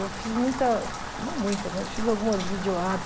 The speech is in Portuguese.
Eu fiz muita, não muita, mas fiz algumas videoarts.